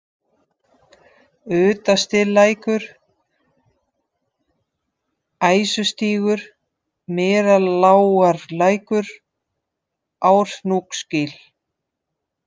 Utastilækur, Æsustígur, Meralágarlækur, Árhnúksgil